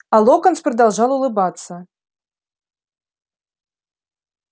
а локонс продолжал улыбаться